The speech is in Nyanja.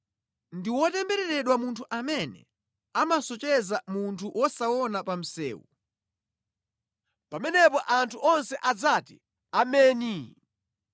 “Ndi wotembereredwa munthu amene amasocheretsa munthu wosaona pa msewu.” Pamenepo anthu onse adzati, “Ameni!”